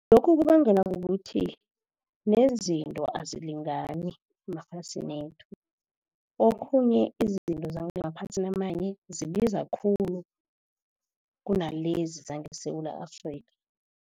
Lokhu kubangelwa kukuthi nezinto azilingani emaphasini wethu. Okhunye izinto zangemaphasini amanye zibiza khulu, kunalezi zangeSewula Afrika.